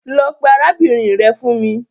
Lọ pe arabinrin rẹ fun mi